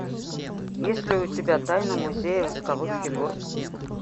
есть ли у тебя тайна музея восковых фигур